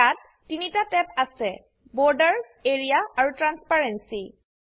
ইয়াত 3টা ট্যাব আছে Borders এৰিয়া আৰু ট্ৰান্সপেৰেন্সী